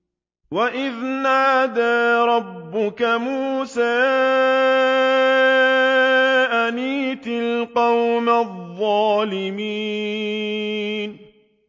وَإِذْ نَادَىٰ رَبُّكَ مُوسَىٰ أَنِ ائْتِ الْقَوْمَ الظَّالِمِينَ